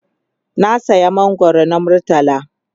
na saya mangwaro na murtala